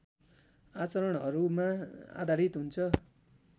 आचरणहरूमा आधारित हुन्छ